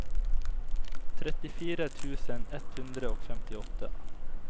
trettifire tusen ett hundre og femtiåtte